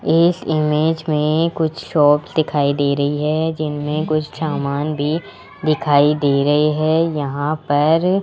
इस इमेज में कुछ शॉप दिखाई दे रही है जिनमें कुछ सामान भी दिखाई दे रहे हैं यहां पर --